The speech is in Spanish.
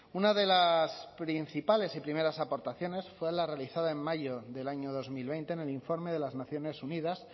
una de las principales y primeras aportaciones fue la realizada en mayo del año dos mil veinte en el informe de las naciones unidas